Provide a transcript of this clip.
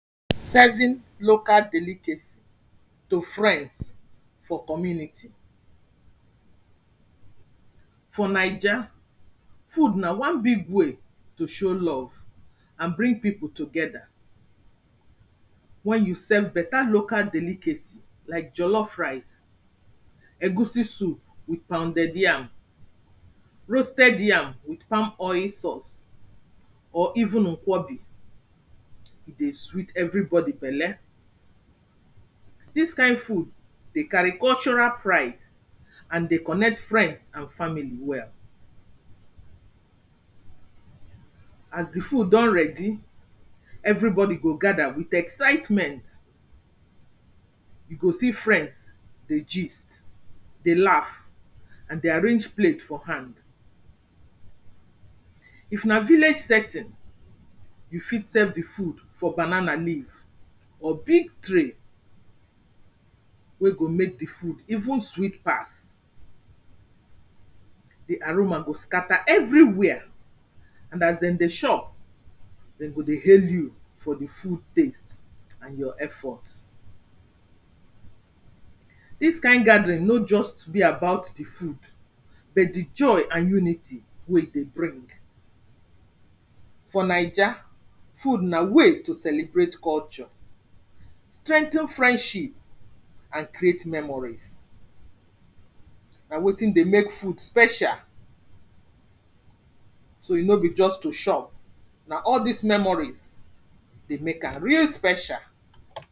Serving local delicacy to friends for community. For Naija, food na one big way to show love and bring people together. Wen you serve better local delicacy like jellof rice, egusi soup with pounded yam, roasted yam with palm oil sauce,, or even nkwobi e dey sweet everybody belle. Dis kind food, dey carry cultural pride and dey connect friends and family well. As di food don ready, everybody go gather with excitement, you go see friends dey gist dey laugh, and dey arrange plates for hand. if na village setting, you fit serve di food for banana leaf or big tray, wen go make di food even sweet pass. Di aroma go scatter everywhere, and as dem dey chop, dem go dey hail you for di food taste and your effort. Dis kind gathering no just be about di food, but di joy and unity wey e dey bring. For Naija, food na way to celebrate culture, strengthen friendship and create memories. Na wetin dey make food special, so e no be just to chop, na all dis memories dey make am real special.